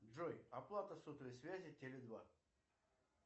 джой оплата сотовой связи теле два